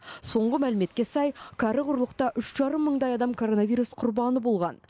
соңғы мәліметке сай кәрі құрлықта үш жарым мыңдай адам коронавирус құрбаны болған